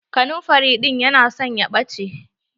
Kanamfari ɗin ya na son ya ɓache.